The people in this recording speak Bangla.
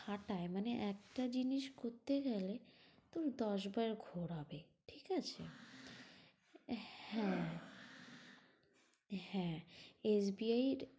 খাটায় মানে একটা জিনিস করতে গেলে তোকে দশ বার ঘোরাবে, ঠিক আছে? হ্যাঁ হ্যাঁ। SBI এর